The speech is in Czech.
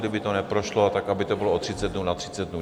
Kdyby to neprošlo, tak aby to bylo o 30 dnů na 30 dnů.